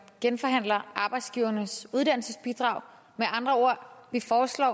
genforhandler arbejdsgivernes uddannelsesbidrag med andre ord foreslår